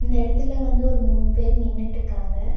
இந்த எடத்துல வந்து ஒரு மூணு பேர் நின்னுட்டுக்காங்க.